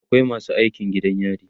akwai masu aikin gidan yari